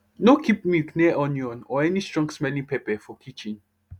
no keep milk near onion or any strongsmelling pepper for kitchen